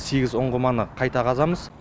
сегіз ұңғыманы қайта қазамыз